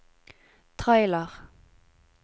trailer